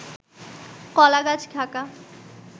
কলাগাছ ঢাকা